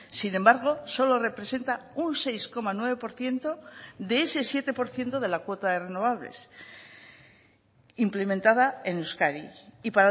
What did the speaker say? sin embargo solo representa un seis coma nueve por ciento de ese siete por ciento de la cuota de renovables implementada en euskadi y